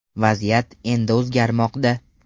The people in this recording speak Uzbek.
Vaziyat endi o‘zgarmoqda.